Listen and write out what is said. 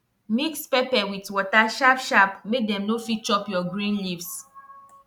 mix pepper with water sharp sharp make dem no fit chop your green leaves